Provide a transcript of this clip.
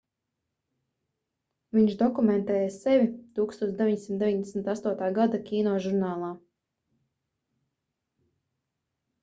viņš dokumentēja sevi 1998. gada kinožurnālā